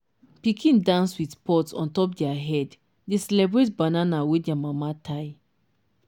pikin dance with pot on top their head dey celebrate banana wey their mama tie.